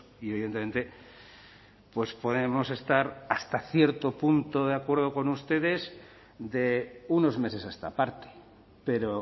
y evidentemente pues podemos estar hasta cierto punto de acuerdo con ustedes de unos meses a esta parte pero